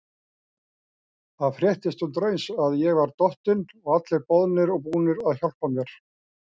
Það fréttist undireins að ég var dottinn og allir boðnir og búnir að hjálpa mér.